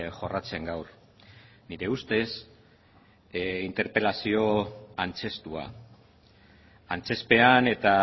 jorratzen gaur nire ustez interpelazio antzeztua antzezpean eta